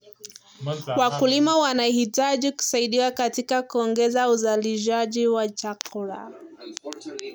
Wakulima wanahitaji kusaidiwa katika kuongeza uzalishaji wa chakula.